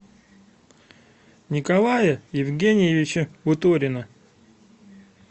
николая евгеньевича буторина